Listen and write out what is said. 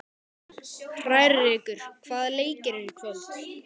Hrærekur, hvaða leikir eru í kvöld?